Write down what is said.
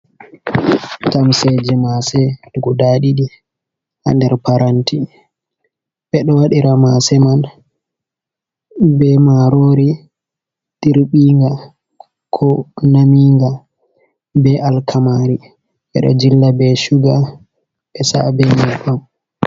Tamseeje maase guda ɗiɗi haa nder paranti. Ɓe ɗo waɗira maase man, be maaroori dirɓinga ko naminga ,be alkamaari. Ɓe ɗo jilla be cuga ɓe sa'a be nyebbam.